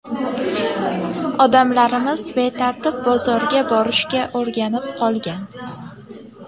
Odamlarimiz betartib bozorga borishga o‘rganib qolgan.